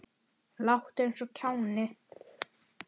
Láttu eins og kjáni.